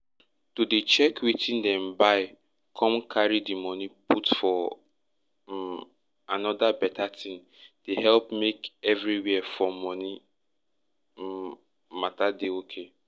to dey check wetin dem buy come carry di money put for um anoda beta tin dey help make everywhere for money um matter dey okay